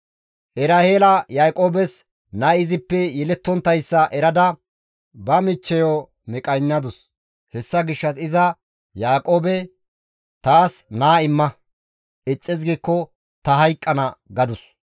Eraheela Yaaqoobes nay izippe yelettonttayssa erada ba michchey bolla qanaatadus; hessa gishshas iza Yaaqoobe, «Taas naa imma; ixxis giikko ta hayqqana» gadus.